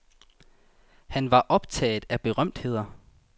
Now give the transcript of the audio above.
Han var optaget af berømtheder.